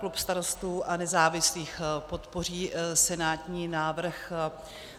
Klub Starostů a nezávislých podpoří senátní návrh.